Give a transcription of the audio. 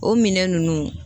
O minɛn ninnu